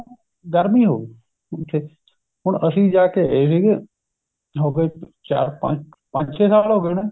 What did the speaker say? ਗਰਮੀ ਹੋਗੀ ਉੱਥੇ ਹੁਣ ਅਸੀਂ ਜਾ ਕੇ ਆਏ ਹੈਗੇ ਹੋਗੇ ਚਾਰ ਪੰਜ ਪੰਜ ਛੇ ਸਾਲ ਹੋਗੇ ਹੋਣੇ